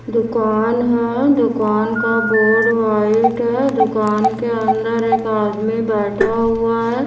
दुकान है दुकान का बोर्ड व्हाइट है। दुकान के अंदर एक आदमी बैठा हुआ है।